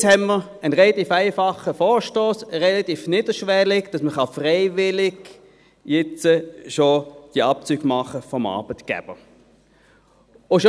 Jetzt haben wir einen relativ einfachen, niederschwelligen Vorstoss, der will, dass man diese Abzüge jetzt schon freiwillig durch den Arbeitgeber vornehmen lassen kann.